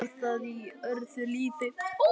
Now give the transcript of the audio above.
Var það í öðru lífi?